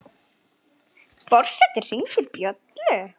Forseti hringdi bjöllu!